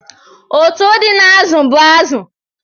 Ụ̀tụ́ dị n'azụ bụ azụ.